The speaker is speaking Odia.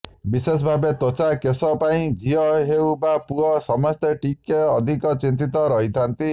ବିଶେଷଭାବେ ତ୍ବଚା କେଶ ପାଇଁ ଝିଅ ହେଉ ବା ପୁଅ ସମସ୍ତେ ଟିକେ ଅଧିକ ଚିନ୍ତିତ ରହିଥାନ୍ତି